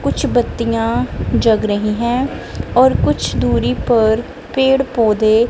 कुछ बतियाँ जग रहीं हैं और कुछ दूरी पर पेड़ पौधे--